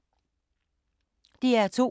DR2